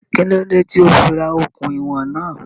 Kí ló dé tí ó fí ra okùn ìwọ̀n náà?